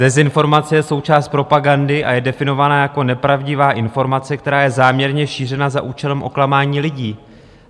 Dezinformace je součást propagandy a je definovaná jako nepravdivá informace, která je záměrně šířena za účelem oklamání lidí.